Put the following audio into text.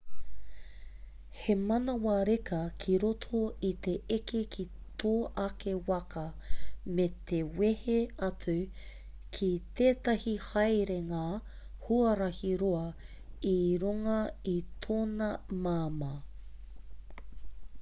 he manawa reka ki roto i te eke ki tō ake waka me te wehe atu ki tētahi haerenga huarahi roa i runga i tōna māmā